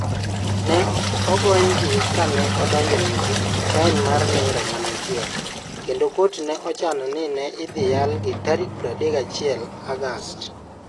Ne ogonygi ka ne odonjnegi fain mar Naira gana achiel, kendo kot ne ochano ni ne idhi yalgi tarik 31 Agost.